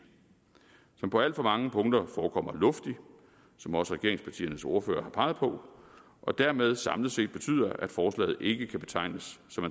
som på alt for mange punkter forekommer luftig som også regeringspartiernes ordførere har peget på og dermed samlet set betyder at forslaget ikke kan betegnes